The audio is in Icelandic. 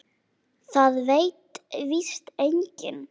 Það veit víst enginn.